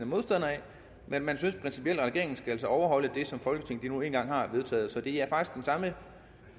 modstander af men man synes principielt at regeringen altså skal overholde det som folketinget nu engang har vedtaget så det er faktisk den samme